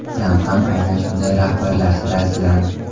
Tramp ham aynan shunday rahbarlar sirasidan.